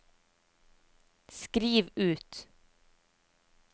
skriv ut